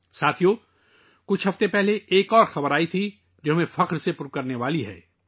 دوستو، چند ہفتے پہلے ایک اور خبر آئی ، جو ہمارا سر فخر سے اونچا کرنے والی ہے